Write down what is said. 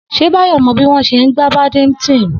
S̩e Báyò̩ mo̩ bí wó̩n s̩e ń gbá badminton?